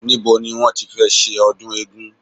Nibo ni wọ́n tí fẹ́ ṣe ọdún eégún